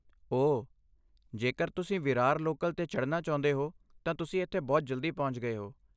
ਓ, ਜੇਕਰ ਤੁਸੀਂ ਵਿਰਾਰ ਲੋਕਲ 'ਤੇ ਚੜ੍ਹਨਾ ਚਾਹੁੰਦੇ ਹੋ ਤਾਂ ਤੁਸੀਂ ਇੱਥੇ ਬਹੁਤ ਜਲਦੀ ਪਹੁੰਚ ਗਏ ਹੋ।